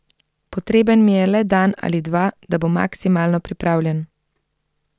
Potreben mi je le dan ali dva, da bom maksimalno pripravljen.